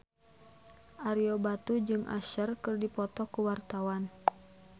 Ario Batu jeung Usher keur dipoto ku wartawan